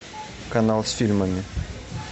канал с фильмами